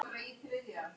Alltaf með bros á vör.